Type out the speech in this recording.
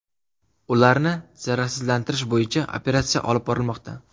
Ularni zararsizlantirish bo‘yicha operatsiya olib borilmoqda.